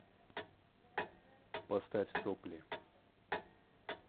поставь сопли